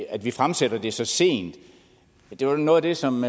at vi fremsætter det så sent det var noget af det som